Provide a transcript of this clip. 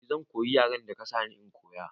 I zan koyi yaren da ka sani in koya